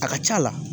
A ka c'a la